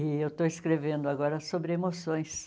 E eu estou escrevendo agora sobre emoções.